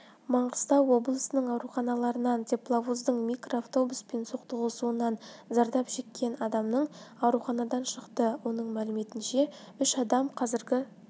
маңғыстау облысының ауруханаларынан тепловоздың микроавтобуспен соқтығысуынан зардап шеккен адамның ауруханадан шықты оның мәліметінше үш адам қазіргі